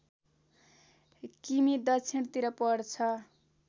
किमि दक्षिणतिर पर्छ